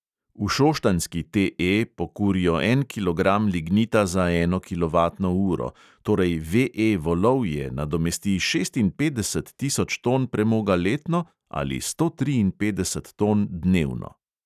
V šoštanjski TE pokurijo en kilogram lignita za eno kilovatno uro, torej VE volovje nadomesti šestinpetdeset tisoč ton premoga letno ali sto triinpetdeset ton dnevno.